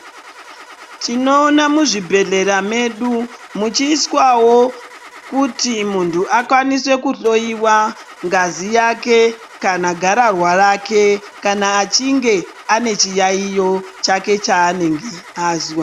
Tinoona muzvibhehlera medu muchiiswawo kuti muntu akwanise kuhloyiwa ngazi yake kana garararwa rake kana achinge ane chiyaiyo chake chazwa.